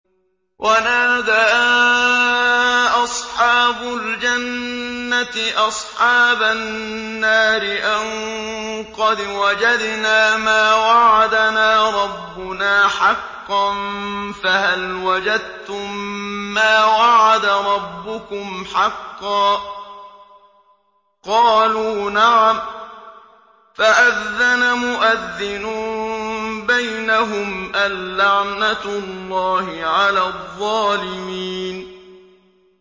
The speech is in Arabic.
وَنَادَىٰ أَصْحَابُ الْجَنَّةِ أَصْحَابَ النَّارِ أَن قَدْ وَجَدْنَا مَا وَعَدَنَا رَبُّنَا حَقًّا فَهَلْ وَجَدتُّم مَّا وَعَدَ رَبُّكُمْ حَقًّا ۖ قَالُوا نَعَمْ ۚ فَأَذَّنَ مُؤَذِّنٌ بَيْنَهُمْ أَن لَّعْنَةُ اللَّهِ عَلَى الظَّالِمِينَ